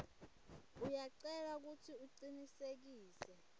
uyacelwa kutsi ucinisekise